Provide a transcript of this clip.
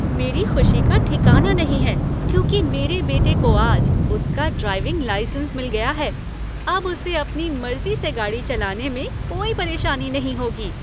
मेरी खुशी का ठिकाना नहीं है क्योंकि मेरे बेटे को आज उसका ड्राइविंग लाइसेंस मिल गया है। अब उसे अपनी मर्जी से गाड़ी चलाने में कोई परेशानी नहीं होगी।